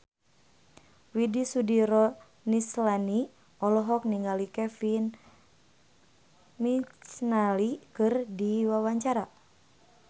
Widy Soediro Nichlany olohok ningali Kevin McNally keur diwawancara